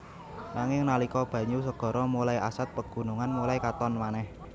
Nanging nalika banyu segara mulai asad pegunungan mulai katon manèh